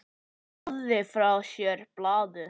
Hann lagði frá sér blaðið.